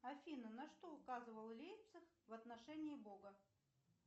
афина на что указывал лейпциг в отношении бога